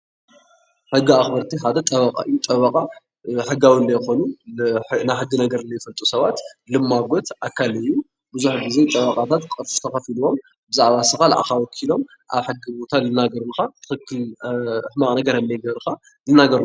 ካብ ሕጊ ኣክበርቲ ካለ ጠበቃ እዩ። ጠበቃ ልማጎት ኣካል እዩ ። መብዛሕቲኡ ብዛዕባ ንስካ ንዓካ ወኪሎም ዝማጎቱ ኣብ ክንድክንካ ዝናገርካ እዩ።